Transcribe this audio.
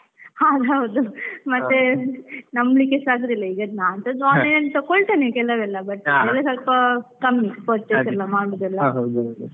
ಹೌದೌದು, ಮತ್ತೆ ನಂಬಿಕೇಸಾ ಆಗುದಿಲ್ಲ ಮತ್ತೆ ನಾನ್ಸಾ online ಅಲ್ ತೆಕ್ಕೋಳ್ತೆನೆ ಕೆಲವೆಲ್ಲ but ಸ್ವಲ್ಪ ಕಮ್ಮಿ purchase ಎಲ್ಲ ಮಾಡೋದೆಲ್ಲ.